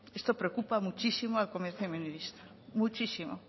esto preocupa muchísimo al comercio minorista muchísimo